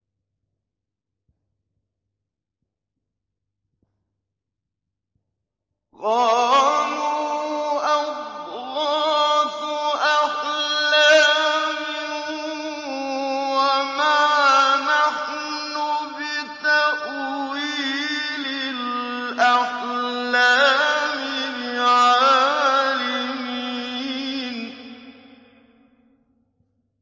قَالُوا أَضْغَاثُ أَحْلَامٍ ۖ وَمَا نَحْنُ بِتَأْوِيلِ الْأَحْلَامِ بِعَالِمِينَ